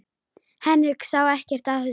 Henrik sá ekkert að þessu.